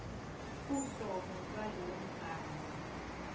uhlobo lwalowo mbhalo